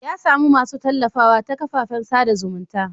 Ya samu masu tallafawa ta kafafen sada zumunta.